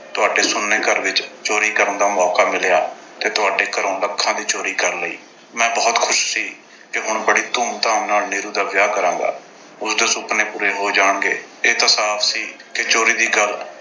ਤੁਹਾਡੇ ਸੁੰਨੇ ਘਰ ਵਿੱਚ ਚੋਰੀ ਕਰਨ ਦਾ ਮੌਕਾ ਮਿਲਿਆ ਤੇ ਤੁਹਾਡੇ ਘਰੋਂ lakhs ਦੀ ਚੋਰੀ ਕਰ ਲਈ। ਮੈਂ ਬਹੁਤ ਖੁਸ਼ ਸੀ ਕਿ ਹੁਣ ਬੜੀ ਧੂਮ-ਧਾਮ ਨਾਲ ਨੀਰੂ ਦਾ ਵਿਆਹ ਕਰਾਂਗਾ। ਉਸਦੇ ਸੁਪਨੇ ਪੂਰੇ ਹੋ ਜਾਣਗੇ। ਇਹ ਤਾਂ ਸਾਫ਼ ਸੀ ਕਿ ਚੋਰੀ ਦੀ ਗੱਲ